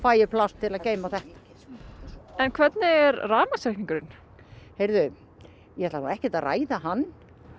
ég pláss til að geyma þetta en hvernig er rafmagnsreikningurinn heyrðu ég ætla nú ekkert að ræða hann